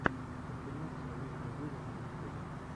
компиляция лорда виво на ютюбе